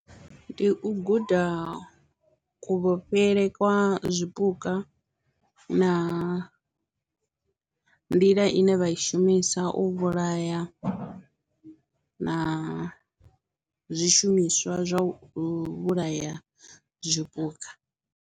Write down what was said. Ndi u guda kuvhofhele kwa zwipuka na nḓila ine vha i shumisa u vhulaya na zwishumiswa zwa u vhulaya zwipuka.